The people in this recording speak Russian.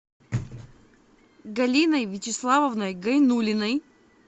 галиной вячеславовной гайнуллиной